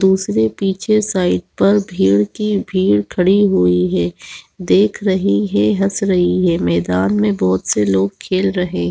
दूसरे पीछे साइड पर भीड़ की भीड़ खड़ी हुई है देख रही है हँस रही है मैदान में बहुत से लोग खेल रहे --